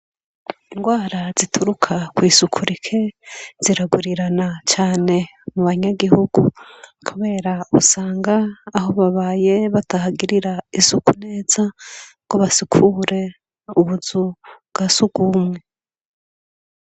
Indwara zituruka kw'isuku rike ziragwirirana cane mu banyagihugu kubera usanga aho babaye batahagirira isuku neza ngo basukure ubuzu bwa surwumwe.